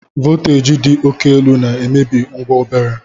Volteji dị oké elu na-emebi ngwa obere.